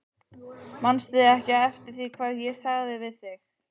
Manstu ekki eftir því hvað ég sagði við þig?